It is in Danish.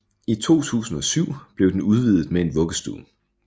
I 2007 blev den udvidet med en vuggestue